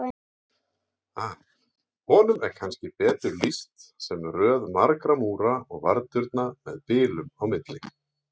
Honum er kannski betur lýst sem röð margra múra og varðturna með bilum á milli.